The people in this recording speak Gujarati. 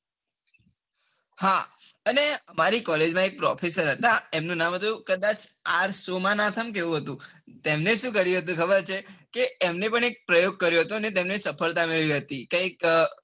હા અને મારી collage માં એક professor હતા એમનું નામ હતું કદાચ R સોમાંનાથંમ કે એવું હતું એમને સુ કર્યું હતું ખબર છે કે એમને પણ એક પ્રયોગ કર્યો અને તેમને સફળતા મેળવી હતી કૈક